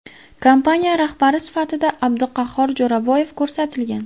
Kompaniya rahbari sifatida Abduqahhor Jo‘raboyev ko‘rsatilgan.